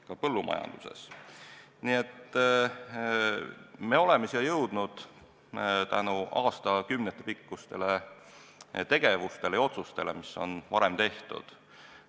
Me oleme tänasesse päeva jõudnud tänu aastakümneid kestnud tegevustele ja otsustele, mis on varem tehtud.